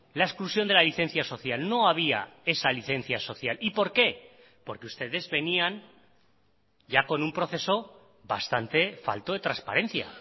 la exclusión de la licencia social no había esa licencia social y por qué porque ustedes venían ya con un proceso bastante falto de transparencia